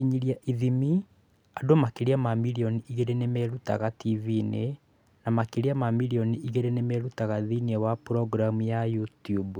Gũkinyĩra / ithimi: Andũ makĩria ma milioni igĩrĩ nĩ merutaga TV-inĩ na makĩria ma milioni igĩrĩ nĩ merutaga thĩinĩ wa programu ya YouTube.